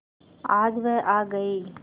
आज वह आ गई